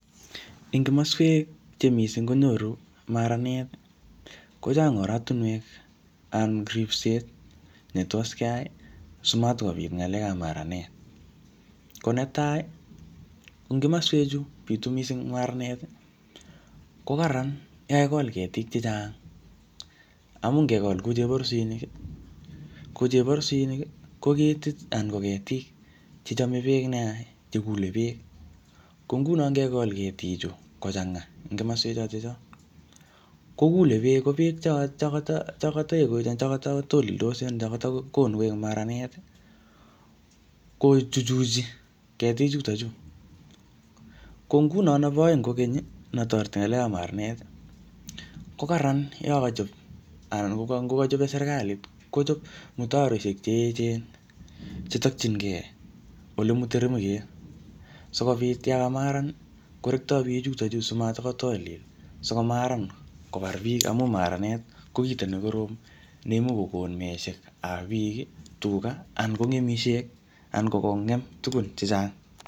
Eng kimaswek che missing konyoru maranet, kochang oratunwek anan ripset netos keyai, simatikobit ngalek ap maranet. Ko netai, eng kimaswek chu bitu missing maranet, ko kararan yo kakigol ketik chechang. Amu ngegol ku chheborisinik, ko cheborisinik ko ketit anan ko ketik che chame beek nea, che kule beek. Ko nguno ngegol ketik chu kochanga eng kimaswek chotocho, kokule beek. Ko beek che koto, chokoto, chekata tolildos , ngakatakonu koek maranet, kochuchuchi ketik chutochu. Ko nguno nebo aeng kokeny, netoreti ngalek ap maranet, kokararan yokochop anan ngo kachope serikalit, kochop mutaroishek che echen, che tokchinkey ole mutremket. Sikobit yokomaran, korektoi beek chutocho simatkotolil sikomaran kobar biik, amu maranet ko kito ne korom ne imuch kokon meeshek ab biik, tuga, anan ko mengishek, anan ko kongem tugun chechang.